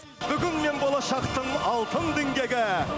бүгін мен болашақтың алтын діңгегі